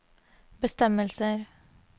bestemmelser